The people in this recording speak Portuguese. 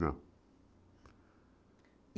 Não.